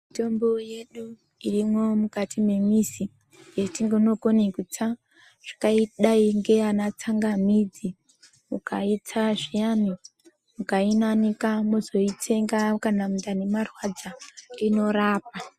Mitombo yedu irimwo mukati mwemizi yetinokone kutsa zvakadayi ngeana tsangamidzi ukaitsa zviyani mukainanika mozoitsenga kana mundani marwadza, inorapa.